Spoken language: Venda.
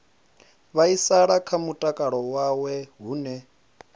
vhaisala kha mutakalo wawe hune